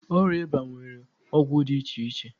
Ọrịa ịba nwere ọgwụ iche iche.